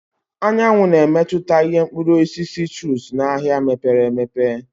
Anyanwụ na-emetụta ìhè Mkpụrụ osisi citrus n'ahịa mepere emepe.